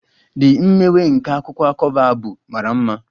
The imewe nke a akwụkwọ cover bụ mara mma.